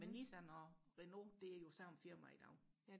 men Nissan og Renault det er jo samme firma i dag